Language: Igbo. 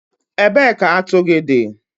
Ebee ka atu gị dị?